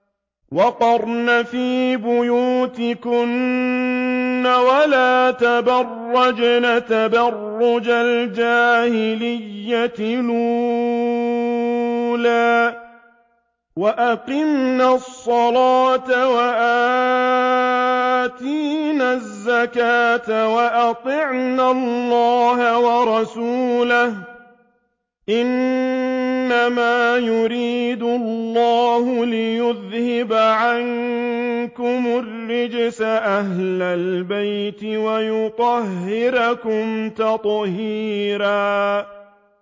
وَقَرْنَ فِي بُيُوتِكُنَّ وَلَا تَبَرَّجْنَ تَبَرُّجَ الْجَاهِلِيَّةِ الْأُولَىٰ ۖ وَأَقِمْنَ الصَّلَاةَ وَآتِينَ الزَّكَاةَ وَأَطِعْنَ اللَّهَ وَرَسُولَهُ ۚ إِنَّمَا يُرِيدُ اللَّهُ لِيُذْهِبَ عَنكُمُ الرِّجْسَ أَهْلَ الْبَيْتِ وَيُطَهِّرَكُمْ تَطْهِيرًا